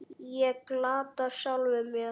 Ég glataði sjálfum mér.